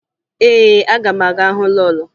Ee, aga m aga hụ lọọlọ